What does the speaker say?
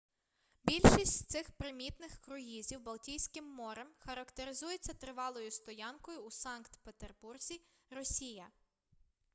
більшість з цих примітних круїзів балтійським морем характеризуються тривалою стоянкою у санкт петербурзі росія